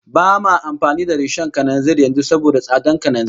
Ba ma amfani da rishon kananzir yanzu saboda tsadar kananzir